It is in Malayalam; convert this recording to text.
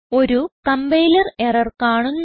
ഒരു കംപൈലർ എറർ കാണുന്നു